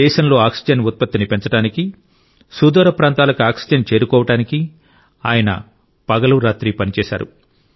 దేశంలో ఆక్సిజన్ ఉత్పత్తిని పెంచడానికి సుదూర ప్రాంతాలకు ఆక్సిజన్ చేరుకోవడానికి ఆయన పగలు రాత్రి పనిచేశారు